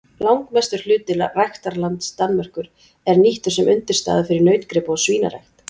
Langmestur hluti ræktarlands Danmerkur er nýttur sem undirstaða fyrir nautgripa- og svínarækt.